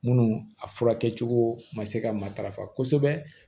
Munnu a furakɛcogo ma se ka matarafa kosɛbɛ